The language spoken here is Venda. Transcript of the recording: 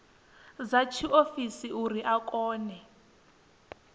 dza tshiofisi uri a kone